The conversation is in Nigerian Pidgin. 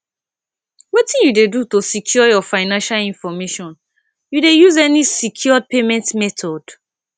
wetin you dey do to secure your financial information you dey use any secure payment method